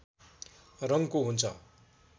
रङको हुन्छ